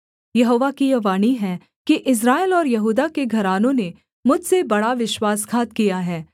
यहोवा की यह वाणी है कि इस्राएल और यहूदा के घरानों ने मुझसे बड़ा विश्वासघात किया है